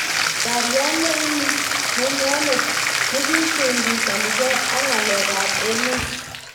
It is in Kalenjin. Parriat nenyineot nikiushanigei ak ng'alek ab emet.